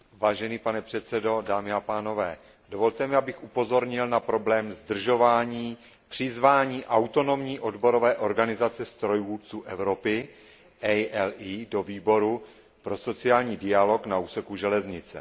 Vážený pane předsedo, dámy a pánové, dovolte mi, abych upozornil na problém zdržování v přizvání Autonomní odborové organizace strojvůdců Evropy do Výboru pro sociální dialog na úseku železnice.